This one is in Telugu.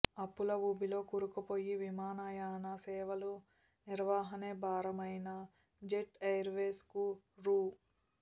అప్పుల ఊబిలో కూరుకుపోయి విమానయాన సేవల నిర్వహణే భారమైన జెట్ ఎయిర్వేస్కు రూ